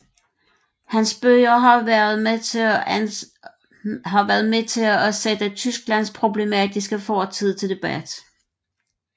Hans bøger har været med til at sætteTysklands problematiske fortid til debat